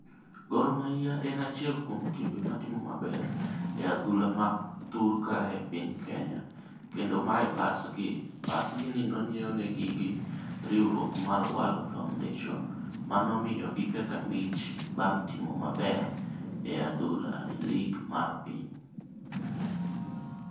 Gor Mahia en achiel kuom timbe matimo maber adhula ma thur kae e piny Kenya. Kendo mae bus gi, bus gi ni ne onyiew nigi gi riwruok mar World Foundation. Mano miyogi kaka mich bang' timo maber e adhula e league mar piny.